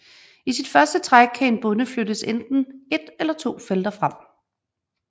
I sit første træk kan en bonde flyttes enten ét eller to felter frem